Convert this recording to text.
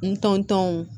N tɔntɔnw